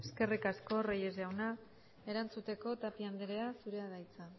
eskerrik asko reyes jauna erantzuteko tapia anderea zurea da hitza